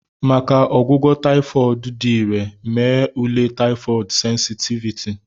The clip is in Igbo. Maka ọgwụgwọ taifod dị irè, mee ule taifod sensitiviti.